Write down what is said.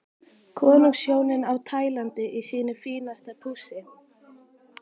Konungshjónin á Tælandi í sínu fínasta pússi.